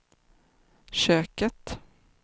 köket